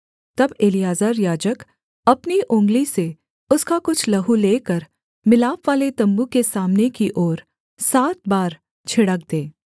तब एलीआजर याजक अपनी उँगली से उसका कुछ लहू लेकर मिलापवाले तम्बू के सामने की ओर सात बार छिड़क दे